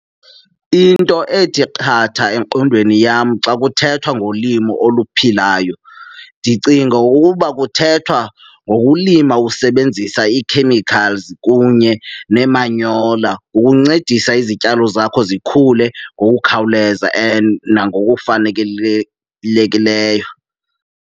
Into ethi qatha engqondweni yam xa kuthethwa ngolimo oluphilayo, ndicinga ukuba kuthethwa ngokulima usebenzisa ii-chemicals kunye neemanyola ukuncedisa izityalo zakho zikhule ngokukhawuleza and nangokufanelekileyo.